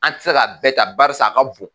An te se ka bɛɛ ta, barisa a ka bon.